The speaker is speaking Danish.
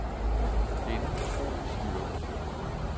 Det er en utrolig styrke.